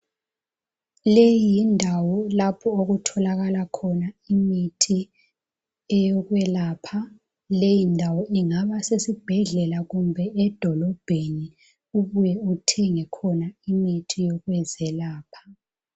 Leyi yindawo lapho okutholakala khona imithi eyokwelapha leyindawo ingaba sesibhedlela kumbe edolobheni ubuye uthenge khona imithi yokwelapha.